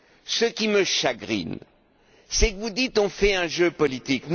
Ce qui me chagrine, c'est que vous dites On fait un jeu politique.